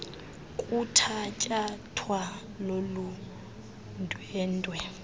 kuthatyathwa lolu ndwendwe